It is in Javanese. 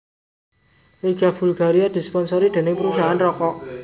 Liga Bulgaria disponsori dening perusahaan rokok